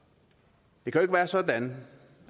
det kan jo ikke være sådan